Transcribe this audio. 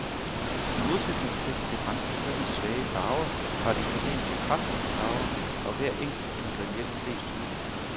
I modsætning til det franske køkkens svage farver, har det italienske kraftige farver, og hver enkelt ingrediens ses tydeligt.